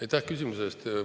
Aitäh küsimuse eest!